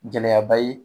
Gɛlɛyaba ye